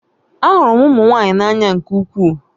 Ahụrụ m ụmụ nwanyị n'anya nke ukwuu